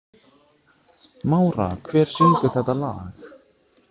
Mára, hver syngur þetta lag?